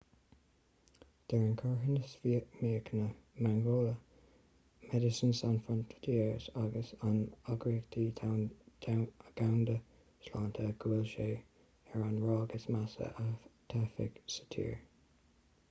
deir an carthanas míochaine mangola medecines sans frontieres agus an eagraíocht dhomhanda sláinte go bhfuil sé ar an ráig is measa a taifeadadh sa tír